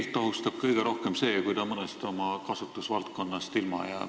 Keelt ohustab kõige rohkem see, kui ta mõnest oma kasutusvaldkonnast ilma jääb.